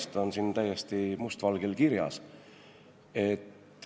See on siin täiesti must valgel kirjas.